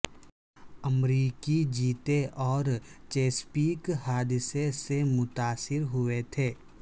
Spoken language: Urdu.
امریکی چیتے اور چیسپیک حادثہ سے متاثر ہوئے تھے